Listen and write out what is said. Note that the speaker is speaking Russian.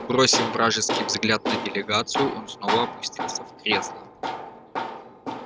бросив вражеский взгляд на делегацию он снова опустился в кресло